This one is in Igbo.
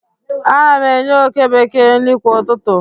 ana m enye oke bekee nri kwa ụtụtụ